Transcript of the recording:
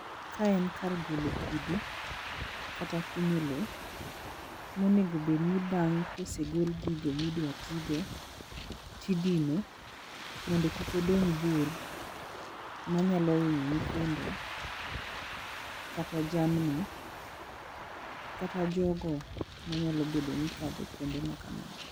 Kaen en kar golo kidi kata kunyo lo monegobedni bang' kosegol gigo midwatigo tidino mondo kik odong' bur manyalo hinyo nyithindo kata jamni kata jogo manyalo bedoni kadho kuonde makamago.